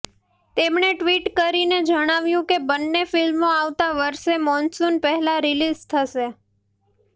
તેમણે ટ્વીટ કરીને જણાવ્યું કે બંને ફિલ્મો આવતા વર્ષે મોન્સૂન પહેલાં રિલીઝ થશે